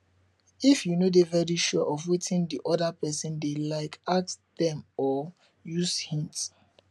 if you no dey very sure of wetin di oda person dey like ask dem or use hint